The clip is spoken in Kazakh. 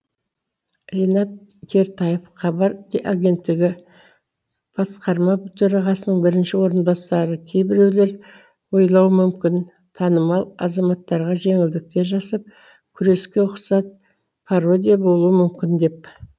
ринат кертаев хабар агенттігі басқарма төрағасының бірінші орынбасары кейбіреулері ойлауы мүмкін танымал азаматтарға жеңілдіктер жасап күреске ұқсат пародия болуы мүмкін деп